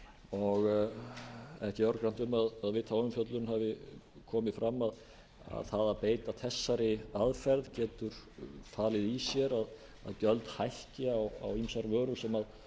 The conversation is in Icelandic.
er ekki örgrannt um að við þá umfjöllun hafi komið fram að það að beita þessari aðferð getur falið í sér að gjöld hækki á ýmsar vörur sem